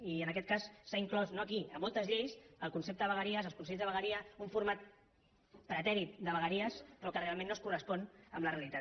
i en aquest cas s’ha inclòs no aquí a moltes lleis el concepte de vegueries els consells de vegueria un format pretèrit de vegueries però que realment no es correspon amb la realitat